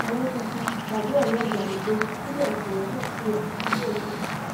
ọyọ tuntun tàbí ọyọ ìgbàlódé níbẹ ni ọyọ náà ṣì wà títí dòní yìí